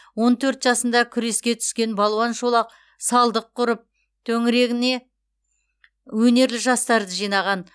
он төрт жасында күреске түскен балуан шолақ салдық құрып төңірегіне өнерлі жастарды жинаған